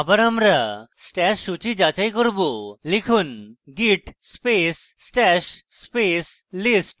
আবার আমরা stash সূচী যাচাই করব লিখুন: git space stash space list